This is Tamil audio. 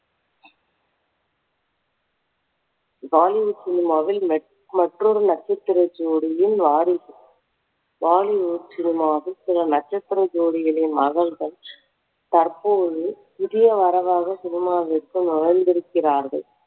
bollywood cinema வில் நட்~ மற்றொரு நட்சத்திர ஜோடியின் வாரிசு bollywood cinema வின் சில நட்சத்திர ஜோடிகளின் மகள்கள் தற்பொழுது புதிய வரவாக cinema விற்குள் நுழைந்திருக்கிறார்கள்